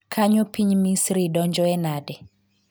kanyo piny Misri donjoe nade?